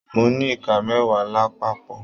Mo ní Ìká mẹwa lápapọ̀.